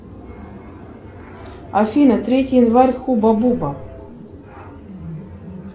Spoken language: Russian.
афина третий январь хуба буба